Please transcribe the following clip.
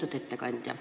Lugupeetud ettekandja!